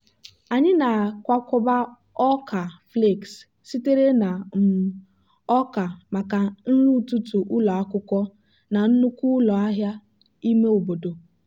anyị na-akwakọba ọka flakes sitere na um ọka maka nri ụtụtụ ụlọ akwụkwọ na nnukwu ụlọ ahịa ime obodo.